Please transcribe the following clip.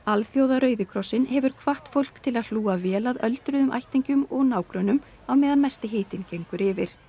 rauði krossinn hefur hvatt fólk til að hlúa vel að öldruðum ættingjum og nágrönnum á meðan mesti hitinn gengur yfir